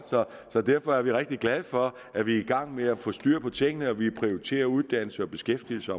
så derfor er vi rigtig glade for at vi er i gang med at få styr på tingene og vi prioriterer uddannelse og beskæftigelse